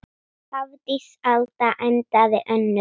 Hafdís Alda endaði önnur.